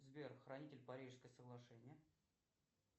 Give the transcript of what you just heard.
сбер хранитель парижское соглашение